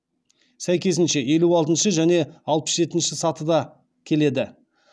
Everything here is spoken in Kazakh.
сәйкесінше елу алтыншы және алпыс жетінші сатыда келеді